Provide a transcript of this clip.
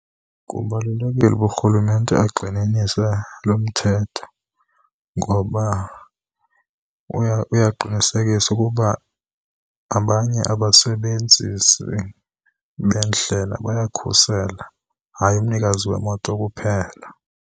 Kubalulekile uba urhulumente agxininise lo mthetho, ngoba uya uyaqinisekisa ukuba abanye abasebenzisi beendlela bayakhuselwa, hayi umnikazi wemoto kuphela.